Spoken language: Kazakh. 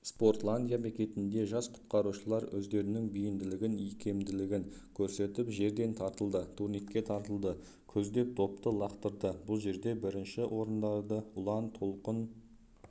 спортландия бекетінде жас құтқарушылар өздерінің бейімділігін икемділігін көрсетіп жерден тартылды турникке тартылды көздеп допты лақтырды бұл жерде бірінші орындарды ұлан толқын